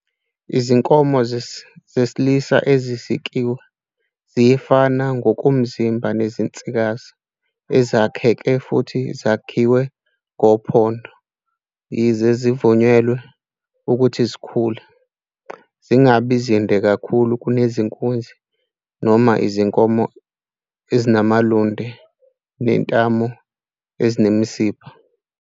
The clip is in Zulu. Izinkomo zesilisa ezisikiwe ziyafana ngokomzimba nezinsikazi ezakheke futhi zakhiwe ngophondo, yize zivunyelwe ukuthi zikhule, zingaba zinde kakhulu kunezinkunzi noma izinkomo, ezinamahlombe nezintamo ezinemisipha.